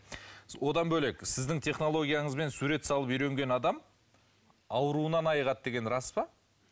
одан бөлек сіздің технологияңызбен сурет салып үйренген адам ауруынан айығады деген рас па